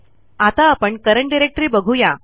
आता आपण current directory बघू या